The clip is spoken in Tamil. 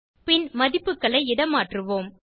பின் மதிப்புகளை இடமாற்றுவோம்